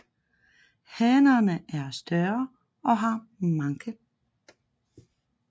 Hannerne er større og har manke